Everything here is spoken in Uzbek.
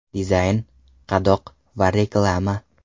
Dizayn, qadoq va reklama.